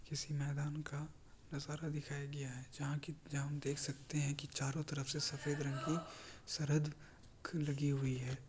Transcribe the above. किसी मैदान का नजारा दिखाया गया है। जहा की जहा हम देख सकते है की चारो तरफ से सफ़ेद रंग की सरहद लगी हुई है ।